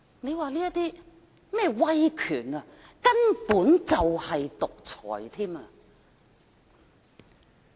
這種威權根本就是獨裁。